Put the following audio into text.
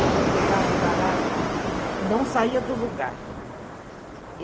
ele pegava o baralho, não saía do lugar.